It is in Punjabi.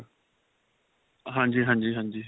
ਹਾਂਜੀ, ਹਾਂਜੀ, ਹਾਂਜੀ .